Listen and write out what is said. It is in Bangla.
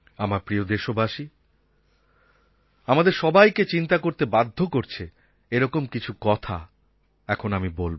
আমার প্রিয় দেশবাসী আমাদের সবাইকে চিন্তা করতে বাধ্য করছে এরকম কিছু কথা এখন আমি বলব